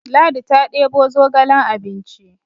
Ladi ta debo zogalen abinci